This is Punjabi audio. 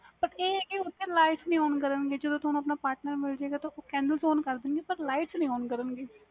ਓਥੇ ਆ ਵਾ ਕੀ ਓਥੇ light ਨਹੀਂ on ਕਰਨ ਗੇ ਜਦੋ ਤੁਹਾਨੂੰ ਤੁਹਾਡਾ partner ਮਿਲ ਜਾਵੇਗਾ ਇਨੁ phone ਕਰ ਦੇਣ ਗੇ ਪਰ light ਨਹੀਂ on ਕਰਨ ਗੇ